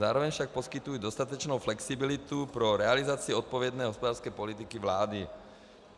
Zároveň však poskytují dostatečnou flexibilitu pro realizaci odpovědné hospodářské politiky vlády.